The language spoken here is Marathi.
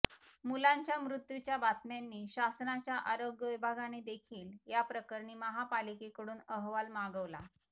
मुलांच्या मृत्युच्या बातम्यांनी शासनाच्या आरोग्य विभागाने देखील या प्रकरणी महापालिके कडून अहवाल मागवला